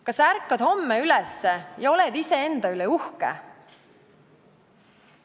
Kas sa ärkad homme üles ja oled iseenda üle uhke?